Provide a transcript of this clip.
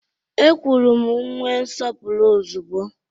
E kwuru nwe nsọpụrụ ozugbo!